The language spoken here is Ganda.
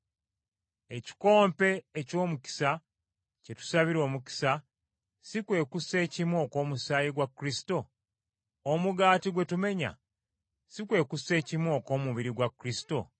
Ekikompe eky’omukisa, kye tusabira omukisa, si kwe kussekimu okw’omusaayi gwa Kristo? Omugaati gwe tumenya, si kwe kussekimu okw’omubiri gwa Kristo?